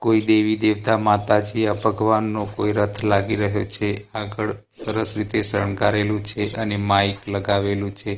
કોઈ દેવી દેવતા માતાજી આ ભગવાનનો કોઈ રથ લાગી રહ્યો છે આગળ સરસ રીતે સંગારેલું છે અને માઇક લગાવેલું છે.